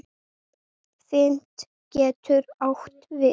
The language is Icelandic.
Fit getur átt við